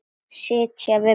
Sitja við borð